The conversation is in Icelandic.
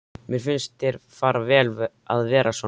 Mér finnst þér fara vel að vera svona.